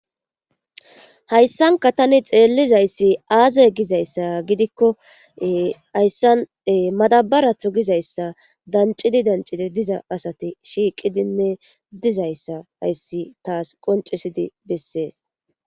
hayssanka tani xeellizayssi aaze gizayssa gidikko hayssane madabaratho gizayssa danccidi dancidi diza asati shiiqidinne dizayssa hayssi taas qonccisidi bessees